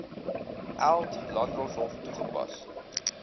eld landdroshof toegepas